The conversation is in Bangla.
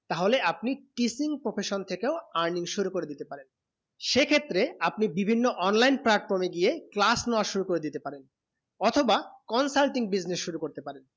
তা হলে আপনি teaching profession থেকেও earning শুরু করে দিতেন পারেন সে ক্ষেত্রে আপনি বিভিন্ন online platform এ গিয়ে class নেবা শুরু করে দিতে পারেন অথবা consulting business করতে পারেন